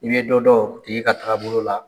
I bɛ dɔ dɔn o tigi ka taabolo la.